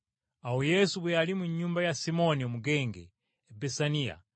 Awo Yesu bwe yali mu nnyumba ya Simooni Omugenge e Besaniya,